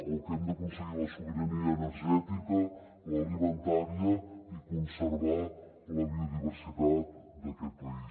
o que hem d’aconseguir la sobirania energètica l’alimentària i conservar la biodiversitat d’aquest país